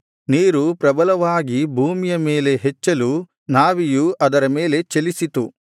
ನೀರು ಪ್ರಬಲವಾಗಿ ಭೂಮಿಯ ಮೇಲೆ ಹೆಚ್ಚಲು ನಾವೆಯು ಅದರ ಮೇಲೆ ಚಲಿಸಿತು